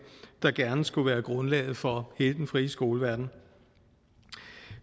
der gerne skulle være grundlaget for hele den frie skoleverden